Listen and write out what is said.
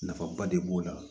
Nafaba de b'o la